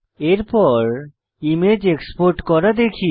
এরপর image export করা শিখি